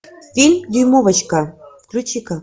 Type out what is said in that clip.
фильм дюймовочка включи ка